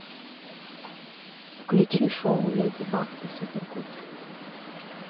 включи шоу леди баг и супер кот